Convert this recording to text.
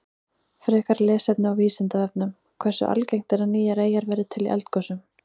Frekara lesefni á Vísindavefnum: Hversu algengt er að nýjar eyjar verði til í eldgosum?